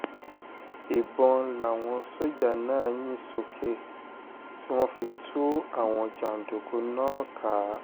ìbọn làwọn sójà náà yín sókè tí wọ́n fi tú àwọn jàǹdùkú náà ká